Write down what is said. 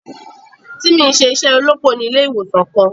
Timi n ṣe iṣẹ olópò ni ilé ìwòsàn kàn.